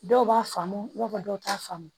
Dɔw b'a faamu i b'a fɔ dɔw t'a faamu